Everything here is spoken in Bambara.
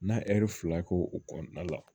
N'a ɛri fila k'o o kɔnɔna la